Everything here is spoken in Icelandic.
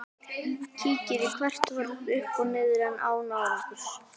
Kíkir í hvert horn uppi og niðri en án árangurs.